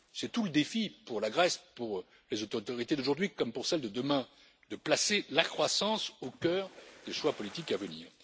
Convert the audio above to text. C'est tout le défi pour la Grèce, pour les autorités d'aujourd'hui comme pour celles de demain, de placer la croissance au cœur des choix politiques à venir.